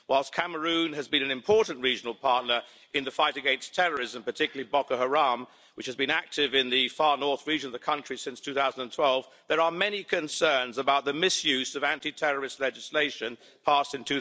Whilst Cameroon has been an important regional partner in the fight against terrorism, particularly Boko Haram, which has been active in the Far North Region of the country since 2012, there are many concerns about the misuse of anti terrorist legislation passed in